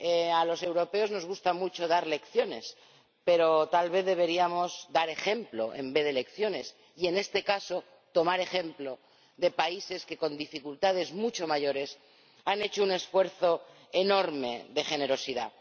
A los europeos nos gusta mucho dar lecciones, pero tal vez deberíamos dar ejemplo en vez de lecciones y, en este caso, tomar ejemplo de países que con dificultades mucho mayores han hecho un esfuerzo enorme de generosidad.